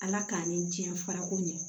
Ala k'an ni tiɲɛ fara ko ɲɛ